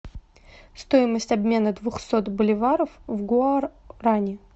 стоимость обмена двухсот боливаров в гуарани